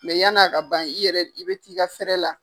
yani a ka ban i yɛrɛ i bɛ t'i ka la.